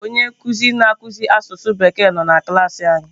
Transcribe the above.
Onye nkuzi na akụzi asụsụ bekee nọ na klaasị anyị